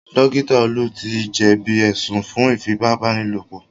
Dókítà Olú ti jẹ̀bí ẹ̀sùn fún Ífipá-báni-lòpọ̀